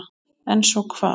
En svo hvað?